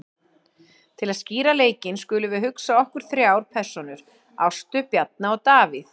Til að skýra leikinn skulum við hugsa okkur þrjár persónur, Ástu, Bjarna og Davíð.